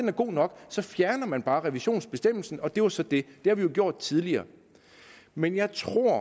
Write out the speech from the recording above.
er god nok så fjerner man bare revisionsbestemmelsen og det var så det det har vi jo gjort tidligere men jeg tror at